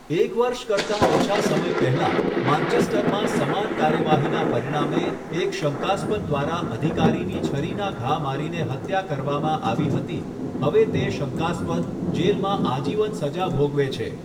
એક વર્ષ કરતાં ઓછા સમય પહેલા, માન્ચેસ્ટરમાં સમાન કાર્યવાહીના પરિણામે એક શંકાસ્પદ દ્વારા અધિકારીની છરીના ઘા મારીને હત્યા કરવામાં આવી હતી, હવે તે શંકાસ્પદ જેલમાં આજીવન સજા ભોગવે છે.